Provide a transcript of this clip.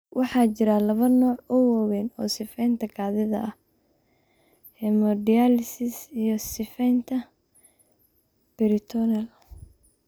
Waxa jira laba nooc oo waaweyn oo sifaynta kaadida ah: hemodialysis iyo sifaynta peritoneal.